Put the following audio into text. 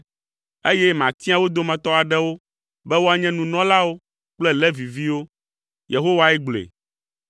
eye matia wo dometɔ aɖewo be woanye nunɔlawo kple Leviviwo.” Yehowae gblɔe.